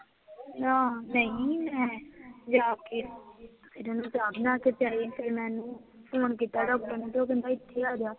ਨਾ, ਨਹੀਂ, ਮੈਂ ਜਾ ਕੇ, ਫੇਰ ਓਹਨੂੰ ਚਾਹ ਬਣਾ ਕੇ ਪਿਆਈ, ਫੇਰ ਫੋਨ ਕੀਤਾ ਡਾਕਟਰ ਨੂੰ, ਤੇ ਉਹ ਕਹਿੰਦਾ ਇਥੇ ਆਜਾ